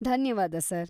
ಧನ್ಯವಾದ ಸರ್.